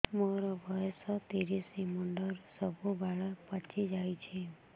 ମୋର ବୟସ ତିରିଶ ମୁଣ୍ଡରେ ସବୁ ବାଳ ପାଚିଯାଇଛି